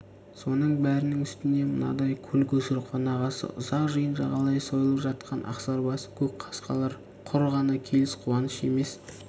соның бәрінің үстіне мынадай көл-көсір қонағасы ұзақ жиын жағалай сойылып жатқан ақсарбас көк қасқалар құр ғана келіс қуанышы емес